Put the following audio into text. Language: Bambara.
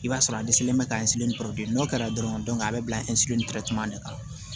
I b'a sɔrɔ a dɛsɛlen bɛ ka n'o kɛra dɔrɔn a bɛ bila de kɔnɔ